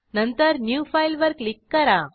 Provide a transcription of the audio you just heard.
नंतर new file वर click करा